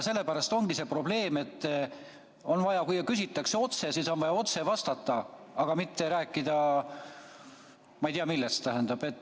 Sellepärast ongi probleem, et kui küsitakse otse, siis on vaja otse vastata, aga mitte rääkida, ma ei tea, millest.